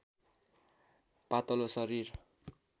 पातलो शरीर